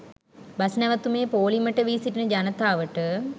bus නැවැතුමේ පෝලිමට වී සිටින ජනතාවට